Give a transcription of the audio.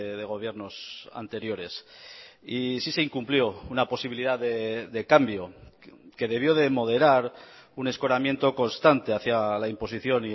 de gobiernos anteriores y sí se incumplió una posibilidad de cambio que debió de moderar un escoramiento constante hacia la imposición